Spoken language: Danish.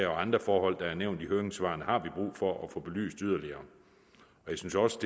andre forhold der er nævnt i høringssvarene har vi brug for at få belyst yderligere jeg synes også